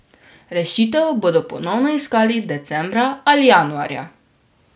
Rešitev bodo ponovno iskali decembra ali januarja.